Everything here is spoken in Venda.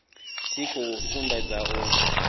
tshi khou sumbedza u